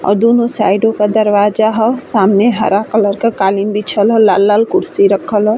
और दोनों साईडो का दरवाज़ा ह सामने हरा कलर का कालीन बिछल ह लाल-लाल कुर्सी रखल ह --